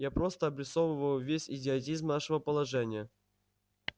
я просто обрисовываю весь идиотизм нашего положения